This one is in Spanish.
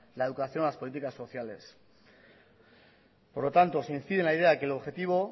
la educación o las políticas sociales por lo tanto se incide en la idea de que el objetivo